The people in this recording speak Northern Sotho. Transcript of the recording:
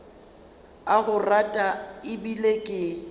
a go rata ebile ke